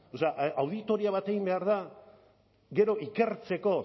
auditoria bat egin behar da gero ikertzeko